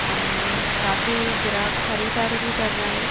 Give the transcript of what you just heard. और काफी ग्राहक खरीददारी भी कर रहे हैं।